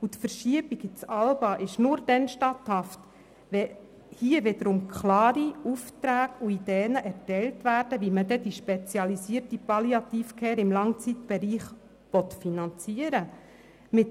Die Verschiebung ins ALBA ist nur dann statthaft, wenn klare Aufträge und Ideen erteilt werden, wie die spezialisierte Palliative Care im Langzeitbereich finanziert werden soll.